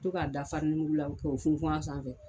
to k'a da fa la k'o funfun a sanfɛ